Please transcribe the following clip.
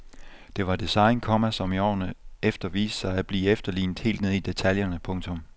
Det var design, komma som i årene efter viste sig at blive efterlignet helt ned i detaljerne. punktum